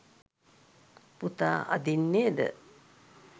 පුතා අදින්නේද